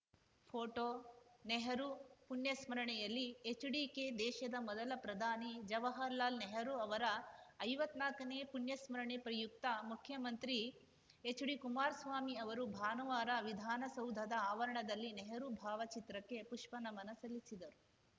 photo Nehru ಪುಣ್ಯಸ್ಮರಣೆಯಲ್ಲಿ ಎಚ್‌ಡಿಕೆ ದೇಶದ ಮೊದಲ ಪ್ರಧಾನಿ ಜವಾಹರಲಾಲ್‌ ನೆಹರು ಅವರ ಐವತ್ ನಾಕನೇ ಪುಣ್ಯಸ್ಮರಣೆ ಪ್ರಯುಕ್ತ ಮುಖ್ಯಮಂತ್ರಿ ಎಚ್‌ಡಿಕುಮಾರಸ್ವಾಮಿ ಅವರು ಭಾನುವಾರ ವಿಧಾನಸೌಧದ ಆವರಣದಲ್ಲಿ ನೆಹರು ಭಾವಚಿತ್ರಕ್ಕೆ ಪುಷ್ಪನಮನ ಸಲ್ಲಿಸಿದರು